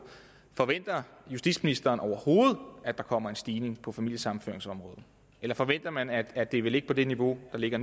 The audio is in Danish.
forventer justitsministeren overhovedet at der kommer en stigning på familiesammenføringsområdet eller forventer man at at det vil ligge på det niveau det ligger